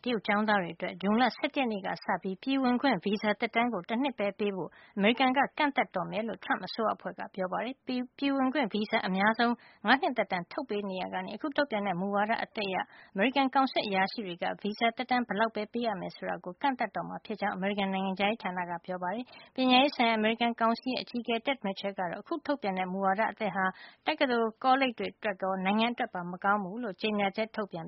တရုတ်ကျောင်းသားတွေ အတွက် ဇွန်လ ၁၁ ရက်နေ့ကစပြီး ပြည်ဝင်ခွင့် ဗီဇာ သက်တမ်းကို တနှစ်ပဲ ပေးဖို့ အမေရိကန်က ကန့်သတ်တော့မှာ ဖြစ်ကြောင်း Trump အစိုးရအဖွဲ့ကပြောပါတယ်။ ပြည်ဝင်ခွင့်ဗီဇာကို အများဆုံး ၅ နှစ်သက်တမ်းထုတ်ပေးနေရာကနေ အခုထုတ်ပြန်တဲ့ မူဝါဒ အသစ်အရ အမေရိကန် ကောင်စစ်အရာရှိတွေက ဗီဇာသက်တမ်း ဘယ်လောက်ပဲ ပေးရမယ် ဆိုတာကို ကန့်သတ်တော့မှာ ဖြစ်ကြောင်း အမေရိကန် နိုင်ငံခြားရေးဌာနက ပြောပါတယ်။ ပညာရေးဆိုင်ရာ အမေရိကန် ကောင်စီရဲ့ အကြီးအကဲ Ted Mitchell ကတော့ အခုထုတ်ပြန်ခဲ့တဲ့ မူဝါဒ အသစ်ဟာ တက္ကသိုလ် ကောလိပ်တွေ အတွက်ရော နိုင်ငံအတွက်ပါ မကောင်းဘူးလို့ ကြေညာချက်ထုတ်ပြန်